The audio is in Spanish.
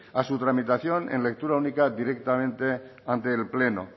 a su tramitación en lectura única directamente ante el pleno